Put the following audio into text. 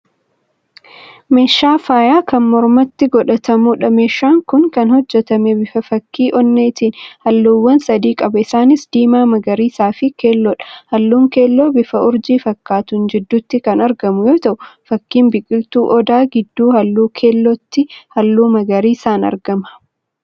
Meeshaa faayaa Kan mormatti godhatamuudha. Meeshaan Kun Kan hojjatame bifa fakkii onneetini. Halluuwwan sadi qaba. isaanis; diimaa magariisafi keelloodha. Halluun keelloon bifa urjii fakkaatuun jidduutti kan argamu yoo ta'u fakkiin biqiltuu odaa gidduu halluu keellotti halluu magariisaan argaman.